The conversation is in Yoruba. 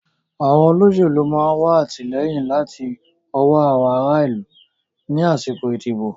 Àwọn olóṣèlú máa wà àtìlẹ́yìn láti ọwọ́ ará ìlú ni àsìkò ìdìbò